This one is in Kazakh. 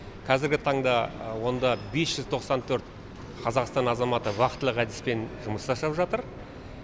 кәзіргі таңда онда бес жүз тоқсан төрт қазақстан азаматы вахталық әдіспен жұмыс жасап жатыр